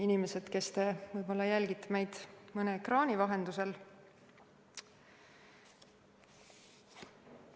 Inimesed, kes te jälgite meid mõne ekraani vahendusel!